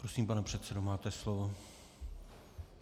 Prosím, pane předsedo, máte slovo.